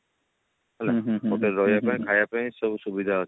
ହେଲା ସେଠି ରହିବା ପାଇଁ ଖାଇବା ପାଇଁ ସବୁ ସୁବିଧା ଅଛି